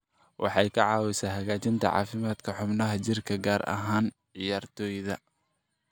Waxay ka caawisaa hagaajinta caafimaadka xubnaha jirka, gaar ahaan ciyaartoyda.